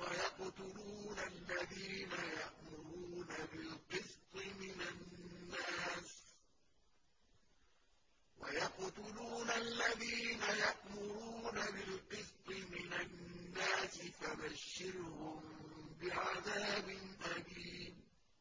وَيَقْتُلُونَ الَّذِينَ يَأْمُرُونَ بِالْقِسْطِ مِنَ النَّاسِ فَبَشِّرْهُم بِعَذَابٍ أَلِيمٍ